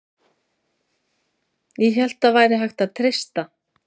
ÉG HÉLT AÐ ÞAÐ VÆRI HÆGT AÐ TREYSTA